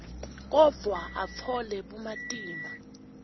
kodvwa atfole bumatima